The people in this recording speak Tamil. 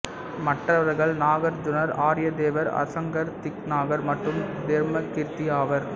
மற்றவர்கள் நாகார்ஜுனர் ஆரியதேவர் அசங்கர் திக்நாகர் மற்றும் தர்மகீர்த்தி ஆவர்